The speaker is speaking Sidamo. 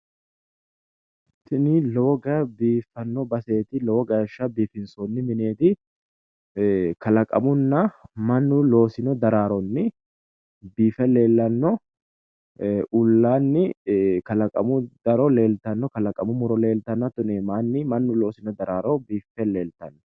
Tini lowo geeshsha biifano baseti kalaqamunna mannu loosino daraaroni biiffe leellittano